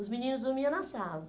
Os meninos dormia na sala.